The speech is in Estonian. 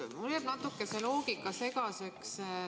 Mulle jääb see loogika natuke segaseks.